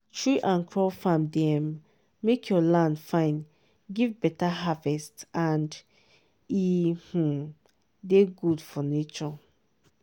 tree and crop farm dey um make your land fine give better harvest and e um dey good for nature.